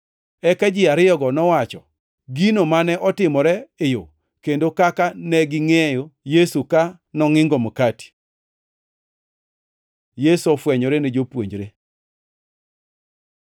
Eka ji ariyogo nowacho, gino mane otimore e yo, kendo kaka negingʼeyo Yesu ka nongʼingo makati. Yesu ofwenyore ne jopuonjre